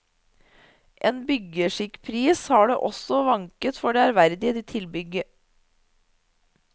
En byggeskikkpris har det også vanket for det ærverdige tilbygget.